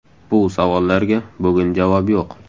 Bu savollarga bugun javob yo‘q.